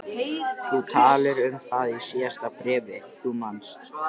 Þú talaðir um það í síðasta bréfi, þú manst.